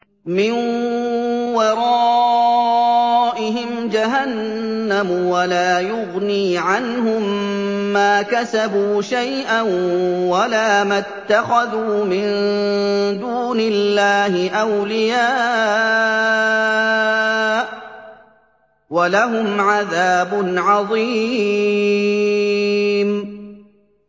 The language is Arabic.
مِّن وَرَائِهِمْ جَهَنَّمُ ۖ وَلَا يُغْنِي عَنْهُم مَّا كَسَبُوا شَيْئًا وَلَا مَا اتَّخَذُوا مِن دُونِ اللَّهِ أَوْلِيَاءَ ۖ وَلَهُمْ عَذَابٌ عَظِيمٌ